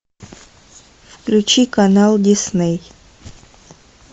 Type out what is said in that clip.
включи канал дисней